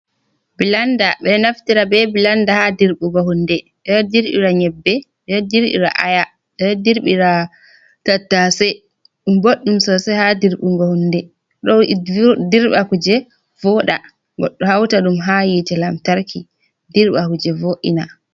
Blanda ɓe ɗo naftira be blanda ha dirɓugo hunde, ɓe ɗo dirɓira nyebbe, ɓeɗo dirɓira aya, ɓe ɗo dirɓira tattasai, ɗum boɗɗum sosai ha dirɓugo hunde, dou dirɓa kuje voɗa, goddo hauta ɗum ha hitte lantarki dirɓa kuje vo’ina.